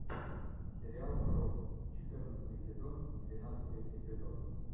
сериал крот четырнадцатый сезон двенадцатый эпизод